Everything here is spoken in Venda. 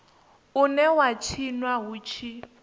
une wa tshinwa hu tshi